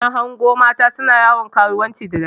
Na hango mata suna yawon karuwanci da daddare.